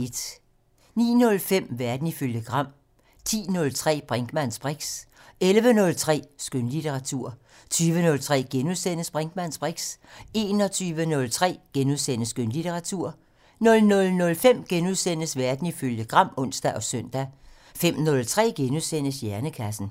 09:05: Verden ifølge Gram 10:03: Brinkmanns briks 11:03: Skønlitteratur 20:03: Brinkmanns briks * 21:03: Skønlitteratur * 00:05: Verden ifølge Gram *(ons og søn) 05:03: Hjernekassen *